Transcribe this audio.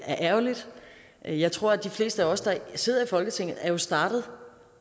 er ærgerligt jeg jeg tror de fleste af os der sidder i folketinget jo er startet